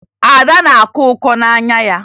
Ada na-akọ ọkọ n'anya ya